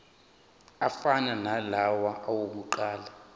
afana nalawo awokuqala